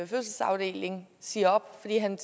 fødselsafdelingen siger op fordi han